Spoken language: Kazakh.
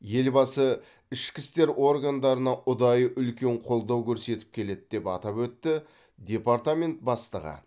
елбасы ішкі істер органдарына ұдайы үлкен қолдау көрсетіп келеді деп атап өтті департамент бастығы